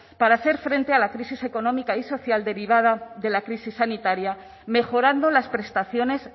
para hacer frente a la crisis económica y social derivada de la crisis sanitaria mejorando las prestaciones